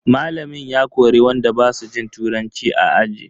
Malamin ya kori wanda basu jin turanci a aji.